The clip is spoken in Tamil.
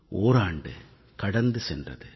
ஓராண்டு கடந்து சென்றது